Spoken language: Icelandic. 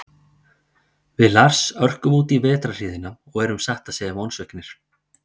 Við Lars örkum útí vetrarhríðina og erum satt að segja vonsviknir.